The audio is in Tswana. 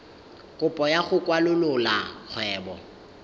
kopo ya go kwalolola kgwebo